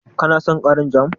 Ka na son ƙarin jam?